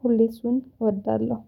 ፖሊሱን እወዳለሁ